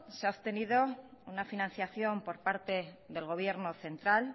se ha obtenido una financiación por parte del gobierno central